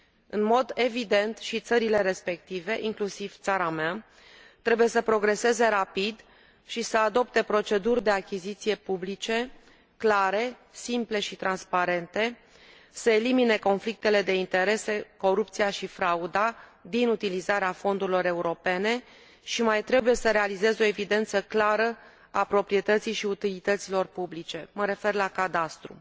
În mod evident, și țările respective, inclusiv țara mea, trebuie să progreseze rapid și să adopte proceduri de achiziții publice clare, simple și transparente, să elimine conflictele de interese, corupția și frauda din utilizarea fondurilor europene și mai trebuie să realizeze o evidență clară a proprietății și utilităților publice mă refer la cadastru.